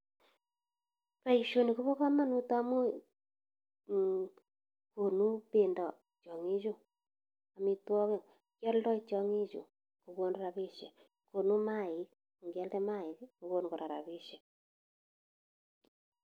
Boishoni kobokomonut amun Um konu bendo tiong'ichu amitwokik, kioldoi tiong'ichu kokon rabishek, konu maik, ng'ialda maik kokonu kora rabishek.